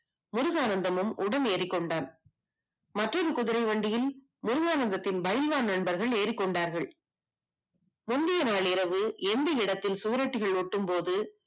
முருகானந்தமும் உடன் ஏறிக்கொண்டான் மற்றொரு குதிரை வண்டியில் முருகானந்தத்தின் பயில்வான் நண்பர்கள் ஏடி கொண்டார்கள் முந்திய நாள் இரவு எந்த இடத்தில் சுவரொட்டிகள் ஊற்றிய போது